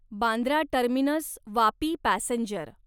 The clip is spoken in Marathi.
Bandra terminus Vapi passenger